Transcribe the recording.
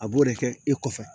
A b'o de kɛ e kɔfɛ